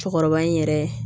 Cɛkɔrɔba in yɛrɛ